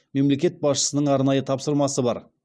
мемлекет басшысының арнайы тапсырмасы бар